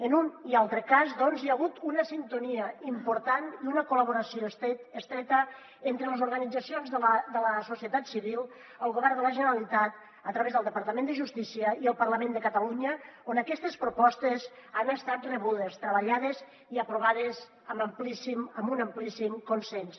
en un i altre cas doncs hi ha hagut una sintonia important i una col·laboració estreta entre les organitzacions de la societat civil el govern de la generalitat a través del departament de justícia i el parlament de catalunya on aquestes propostes han estat rebudes treballades i aprovades amb un amplíssim consens